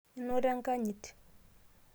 inoto enkanyit